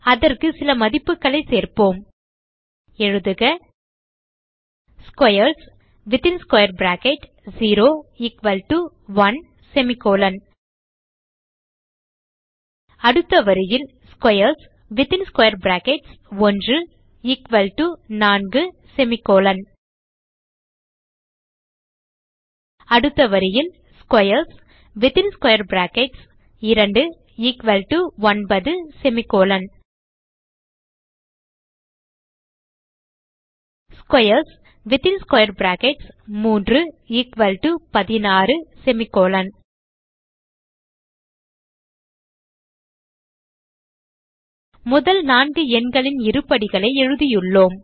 அதற்கு சில மதிப்புகளை சேர்ப்போம் எழுதுக squares0 1 அடுத்த வரியில் squares1 4 அடுத்த வரியில் squares2 9 squares3 16 முதல் நான்கு எண்களின் இருபடிகளை எழுதியுள்ளோம்